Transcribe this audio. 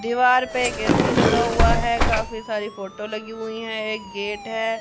दीवार पे एक ऐ_सी लगा हुआ है काफी सारी फोटो लगी हुई हैं एक गेट है।